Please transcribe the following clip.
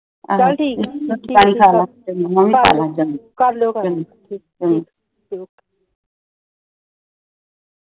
ਚਾਲ ਠੀਕ ਹੈ ਦਵਾਈ ਖਲਾ ਕਰਲੂ ਗਏ ਚਾਲ ਠੀਕ